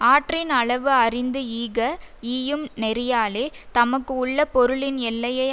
ஆற்றின் அளவு அறிந்து ஈக ஈயும் நெறியாலே தமக்கு உள்ள பொருளின் எல்லையை